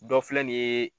Dɔ filɛ nin ye